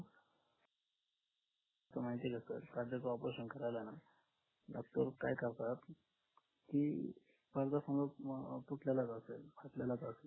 कस माहितीये का operation करायला ना doctor काय करतात